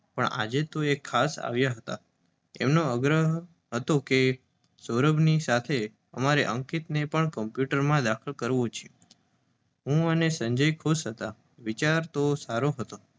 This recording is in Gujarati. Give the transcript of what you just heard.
પણ આજે તો એ ખાસ આવ્યા હતા. એમનો આગ્રહ હતો કે સૌરભની સાથે અમારે અંકિતનેય કમ્પ્યૂટરના ક્લાસમાં દાખલ કરવો. હું અને સંજય ખુશ થયા. વિચારતો સારો હતો,